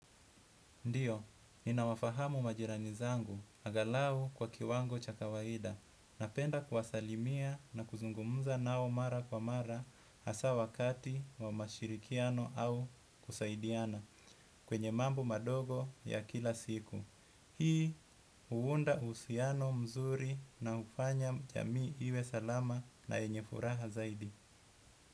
Ndiyo, ni na wafahamu majirani zangu, angalau kwa kiwango cha kawaida, napenda kuwasalimia na kuzungumuza nao mara kwa mara hasa wakati wa mashirikiano au kusaidiana, kwenye mambo madogo ya kila siku. Hii, uunda uhusiano mzuri na ufanya jamii iwe salama na yenyefuraha zaidi.